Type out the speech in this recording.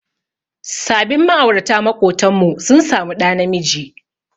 Sabin ma'aurata maƙotanmu sun samu ɗa namiji.